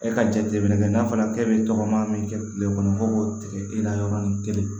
E ka jateminɛ kɛ n'a fɔra k'e bɛ tɔgɔma min kɛ kile kɔnɔ ko k'o tigɛ e la yɔrɔnin kelen